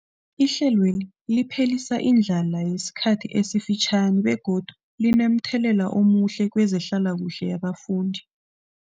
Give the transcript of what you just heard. Ihlelweli liphelisa indlala yesikhathi esifitjhani begodu linomthelela omuhle kezehlalakuhle yabafundi.